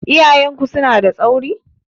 Iyayen ku suna da tsauri?